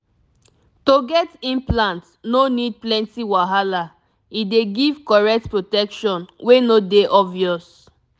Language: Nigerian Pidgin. to get implant no need plenty wahala e dey give correct protection wey no dey obvious